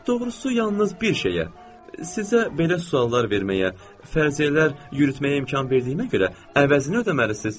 Doğrusu yalnız bir şeyə: sizə belə suallar verməyə, fərziyyələr yürütməyə imkan verdiyimə görə əvəzin ödəməlisiz.